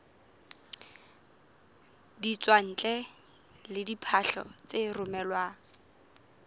ditswantle le diphahlo tse romelwang